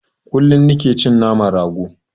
Kullum nike cin naman rago